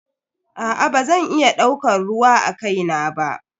Aa bazan iya daukar ruwa akai na ba.